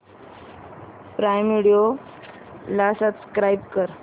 prime video ला subscribe कर